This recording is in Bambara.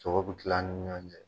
Sogo bɛ kila an ni ɲɔgɔn cɛ.